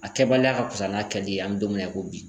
A kɛbaliya ka fisa n'a kɛli ye an be don min na i ko bi